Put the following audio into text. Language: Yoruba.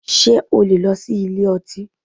Ṣé o lè lọ sí ilé ọtí?